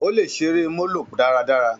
Ó lè ṣeré molo dáradára.